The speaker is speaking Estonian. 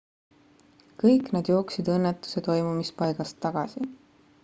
kõik nad jooksid õnnetuse toimumispaigast tagasi